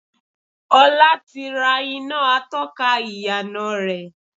Ọlá ti rà iná atọ́ka ìyànà rẹ.